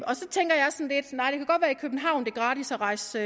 københavn er gratis at rejse